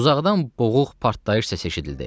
Uzaqdan boğuq partlayış səsi eşidildi.